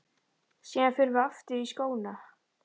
Síðan förum við aftur í skóna.